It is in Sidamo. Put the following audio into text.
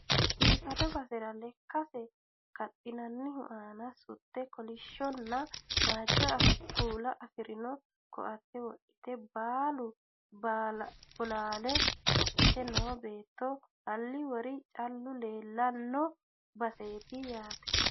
biifado basera lekkase kaxxinannihu aana sutte kolishshonna waajjo kuula afirino ko"ate wodhite bulla bolaale qodhite noo beetto halli wori callu leellanno baseeti yaate